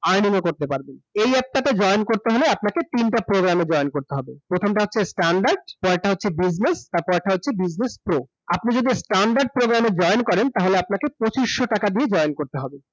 earning ও করতে পারবেন ।এই অ্যাপ টা তে join করতে হলে, আপনাকে তিনটা program এ join করতে হবে । প্রথম টা হচ্ছে standard, পরের টা হচ্ছে business, তারপরের টা হচ্ছে business pro, আপনি যদি standard program এ join করেন তাহলে আপনাকে পচিশশো টাকা দিয়ে join করতে হবে ।